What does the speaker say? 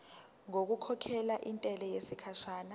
ngokukhokhela intela yesikhashana